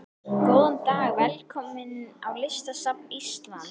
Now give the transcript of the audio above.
Góðan dag. Velkomin á Listasafn Íslands.